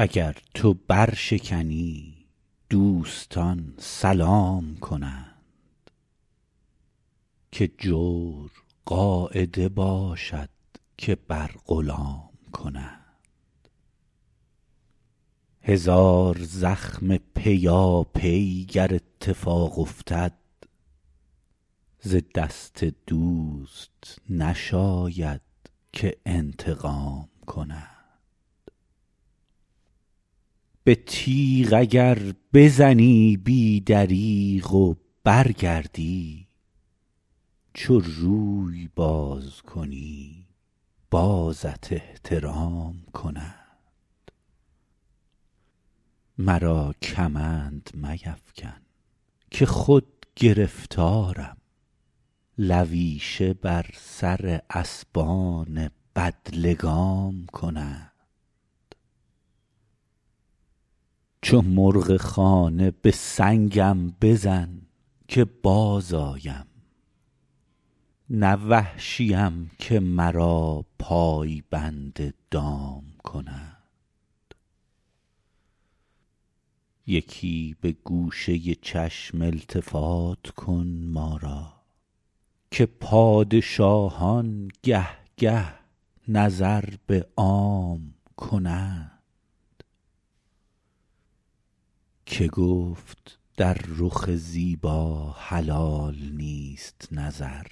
اگر تو برشکنی دوستان سلام کنند که جور قاعده باشد که بر غلام کنند هزار زخم پیاپی گر اتفاق افتد ز دست دوست نشاید که انتقام کنند به تیغ اگر بزنی بی دریغ و برگردی چو روی باز کنی بازت احترام کنند مرا کمند میفکن که خود گرفتارم لویشه بر سر اسبان بدلگام کنند چو مرغ خانه به سنگم بزن که بازآیم نه وحشیم که مرا پای بند دام کنند یکی به گوشه چشم التفات کن ما را که پادشاهان گه گه نظر به عام کنند که گفت در رخ زیبا حلال نیست نظر